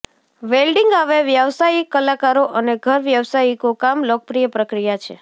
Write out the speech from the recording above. welding હવે વ્યાવસાયિક કલાકારો અને ઘર વ્યવસાયિકો કામ લોકપ્રિય પ્રક્રિયા છે